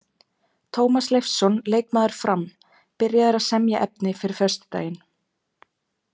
Tómas Leifsson leikmaður Fram: Byrjaður að semja efni fyrir föstudaginn.